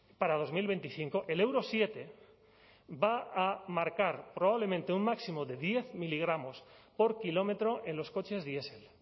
para dos mil veinticinco el euro siete va a marcar probablemente un máximo de diez miligramos por kilómetro en los coches diesel